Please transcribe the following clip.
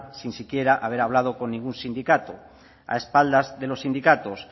sin ni siquiera haber hablado con ningún sindicado a espaldas de los sindicados